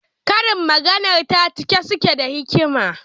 Karin maganarta na cike suke da hikima.